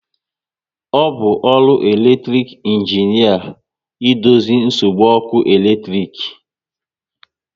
Ọ bụ ọrụ elektic injinia idozi nsogbu ọkụ eletrik